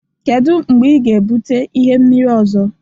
Kedu mgbe ị ga-ebute ihe mmiri ọzọ